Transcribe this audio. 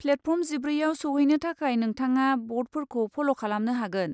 Platform जिब्रैआव सौहैनो थाखाय नोंथाङा ब'र्डफोरखौ फल' खालामनो हागोन।